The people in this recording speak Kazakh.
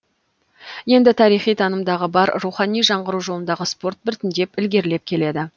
енді тарихи танымдығы бар рухани жаңғыру жолындағы спорт біртіндеп ілгерілеп келеді